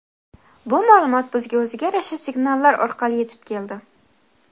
bu ma’lumot bizga o‘ziga yarasha signallar orqali yetib keldi.